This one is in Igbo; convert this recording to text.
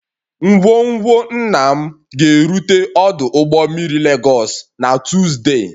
Ngwongwo nna m ga-erute ọdụ ụgbọ mmiri Lagos na Tuzdee